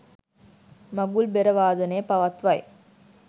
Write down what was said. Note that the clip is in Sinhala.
මඟුල් බෙර වාදනය පවත්වයි